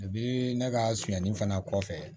ne ka soni fana kɔfɛ